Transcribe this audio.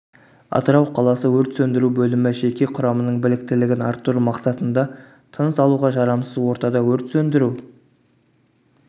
атырау қаласы өрт сөндіру бөлімі жеке құрамының біліктілігін арттыру мақсатында тыныс алуға жарамсыз ортада өрт сөндіру